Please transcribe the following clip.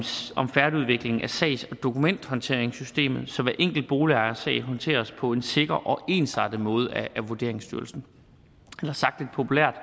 færdigudvikling af sags og dokumenthåndteringssystemet så hver enkelt boligejers sag håndteres på en sikker og ensartet måde af vurderingsstyrelsen sagt lidt populært